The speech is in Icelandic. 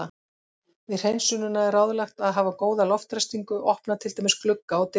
Við hreinsunina er ráðlegt að hafa góða loftræstingu, opna til dæmis glugga og dyr.